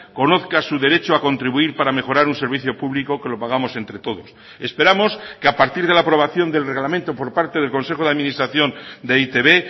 conozca su derecho a contribuir para mejorar un servicio público que lo pagamos entre todos esperamos que a partir de la aprobación del reglamento por parte del consejo de administración de e i te be